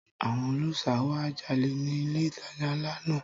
Àwọn ọlọ́ṣà wá jalè ni ilé ìtajà ńlá náà.